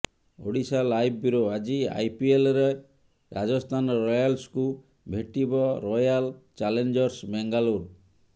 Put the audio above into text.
Odisha live bureau ଆଜି ଆଇପିଏଲ୍ରେ ରାଜସ୍ଥାନ ରୟାଲ୍ସକୁ ଭେଟିବ ରୟାଲ ଚ୍ୟାଲେଞ୍ଜର୍ସ ବେଙ୍ଗାଳୁରୁ